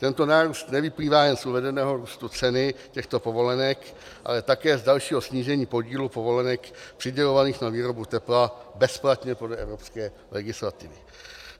Tento nárůst nevyplývá jen z uvedeného růstu ceny těchto povolenek, ale také z dalšího snížení podílu povolenek přidělovaných na výrobu tepla bezplatně podle evropské legislativy.